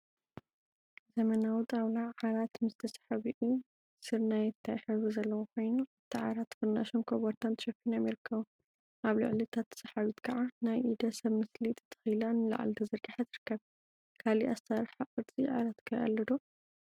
ዘመናዊ ጣውላ ዓራት ምስ ተሳሓቢኡ ስርናየታይ ሕብሪ ዘለዎ ኮይኑ፤ አብቲ ዓራት ፍርናሽን ኮበርታን ተሸፊኖም ይርከቡ፡፡ አብ ልዕሊ እታ ተሳሓቢት ከዓ ናይ ኢደ ሰብ ምስሊ ተተኪላ ንላዕሊ ተዘርጊሓ ትርከብ፡፡ ካሊእ አሰራርሓ ቅርፂ ዓራት ኸ አሎ ዶ?